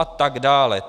A tak dále.